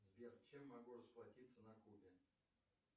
сбер чем могу расплатиться на кубе